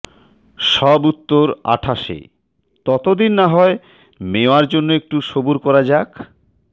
সব উত্তর আঠাশে ততদিন না হয় মেওয়ার জন্য একটু সবুর করা যাক